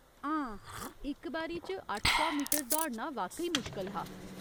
हां, इक बारी च अट्ठ सौ मीटर दौड़ना वाकई मुश्कल हा।